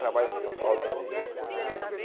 Trabalha aqui em São Paulo também.